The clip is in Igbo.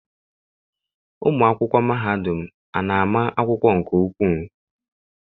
Ụmụ akwụkwọ mahadum ana ama akwụkwọ nke ukwuu?